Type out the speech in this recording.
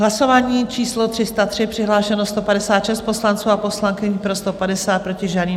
Hlasování číslo 303, přihlášeno 156 poslanců a poslankyň, pro 150, proti žádný.